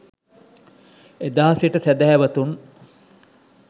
එදා සිට සැදැහැවතුන්